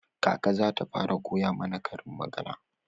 Kaka za ta fara koya mana karin magana.